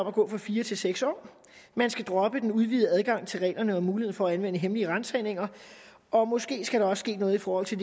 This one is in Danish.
at gå fra fire til seks år man skal droppe den udvidede adgang til reglerne om mulighed for at anvende hemmelige ransagninger og måske skal der også ske noget i forhold til